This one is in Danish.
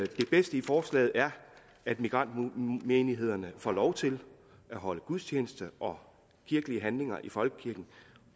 det bedste i forslaget er at migrantmenighederne får lov til at holde gudstjeneste og kirkelige handlinger i folkekirken